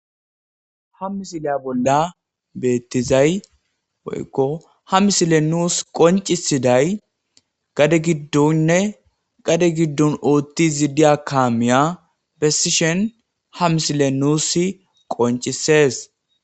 Ha misiliya bolla beeththizay woykko ha misilee nus qonccissiday gade giddonne gade giddon ooththiizi diya kaamiyaa bessishen ha misilee nuussi qonccissees.